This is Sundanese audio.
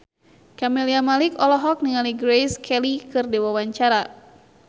Camelia Malik olohok ningali Grace Kelly keur diwawancara